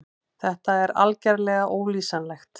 Þetta er algerlega ólýsanlegt.